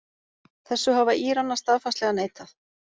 Þessu hafa Íranar staðfastlega neitað